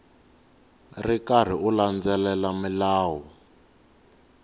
ri karhi u landzelela milawu